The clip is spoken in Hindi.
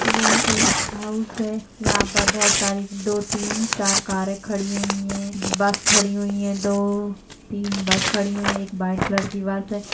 यह एक हाउस है यहाँ पर बहौत सारी दो तीन चार कारें खड़ी हुई हैं बस खड़ी हुईं है दो तीन बस खड़ी हुई है एक वाइट कलर की बस है।